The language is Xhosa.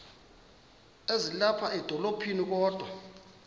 ezilapha edolophini kodwa